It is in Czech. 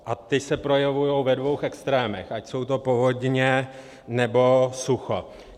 A ty se projevují ve dvou extrémech, ať jsou to povodně, nebo sucho.